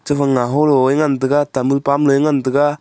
naho lo a ngan tega tamul pan nu a ngan tega.